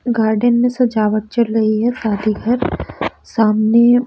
garden में सजावट चल रही है शादी घर सामने--